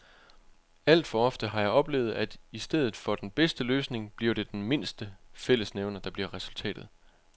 Alt for ofte har jeg oplevet, at i stedet for den bedste løsning bliver det den mindste fællesnævner, der bliver resultatet.